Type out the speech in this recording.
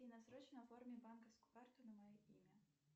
афина срочно оформи банковскую карту на мое имя